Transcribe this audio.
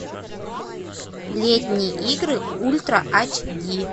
летние игры ультра эйч ди